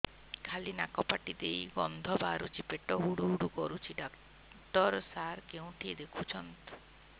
ଖାଲି ନାକ ପାଟି ଦେଇ ଗଂଧ ବାହାରୁଛି ପେଟ ହୁଡ଼ୁ ହୁଡ଼ୁ କରୁଛି ଡକ୍ଟର ସାର କେଉଁଠି ଦେଖୁଛନ୍ତ